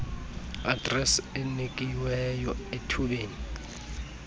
adresi enikiweyo ethubeni